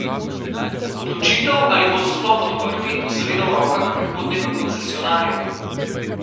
Odločitev, ali bodo sploh odprti, bo seveda v rokah prihodnjega koncesionarja.